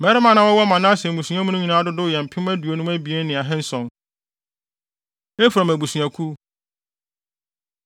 Mmarima a na wɔwɔ Manase mmusua no nyinaa mu dodow yɛ mpem aduonum abien ne ahanson (52,700). Efraim Abusuakuw